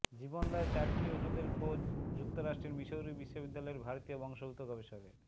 জীবনদায়ী চারটি ওষুধের খোঁজ যুক্তরাষ্ট্রের মিসৌরি বিশ্ববিদ্যালয়ের ভারতীয় বংশোদ্ভূত গবেষকের